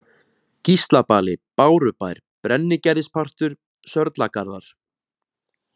Gíslabali, Bárubær, Brennigerðispartur, Sörlagarðar